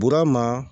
Burama